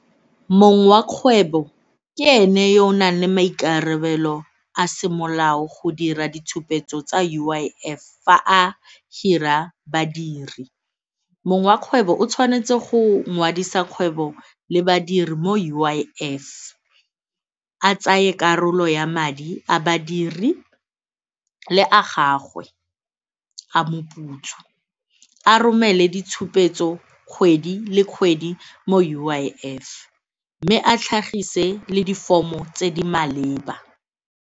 Mong wa kgwebo ke ene yo o nang le maikarabelo a semolao go dira ditshupetso tsa U_I_F fa a hira badiri. Mong wa kgwebo o tshwanetse go ngwadise kgwebo le badiri mo U_I_F, a tsaye karolo ya madi a badiri le a gagwe a moputso a romele ditshupetso kgwedi le kgwedi mo U_I_F mme a tlhagise le di-form-o tse di maleba.